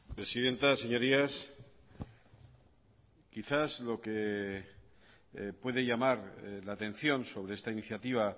presidenta señorías quizás lo que puede llamar la atención sobre esta iniciativa